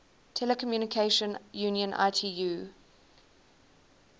telecommunication union itu